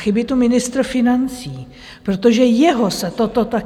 Chybí tu ministr financí, protože jeho se toto tak...